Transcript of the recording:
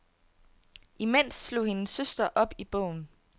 Imens slog hendes søster op i bogen.